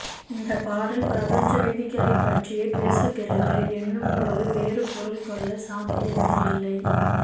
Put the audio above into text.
இந்தப்பாடல் பிரபஞ்ச விதிகளைப்பற்றியே பேசுகிறது என்னும்போது வேறு பொருள் கொள்ள சாத்தியமே இல்லை